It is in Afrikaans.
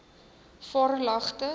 varelagte